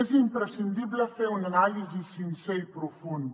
és imprescindible fer una anàlisi sincera i profunda